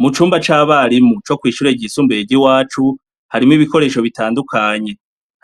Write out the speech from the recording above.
Mucumba cabarimu co kwishure ryisumbuye ryiwacu harimwo ibikoresho bitandukanye